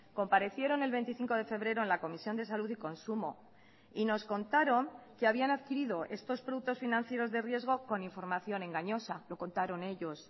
comparecieron el veinticinco de febrero en la comisión de salud y consumo y nos contaron que habían adquirido estos productos financieros de riesgo con información engañosa lo contaron ellos